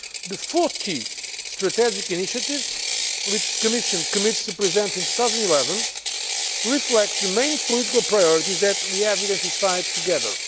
The 40 strategic initiatives which the Commission commits to present in 2011 reflect the main political priorities that we have identified together.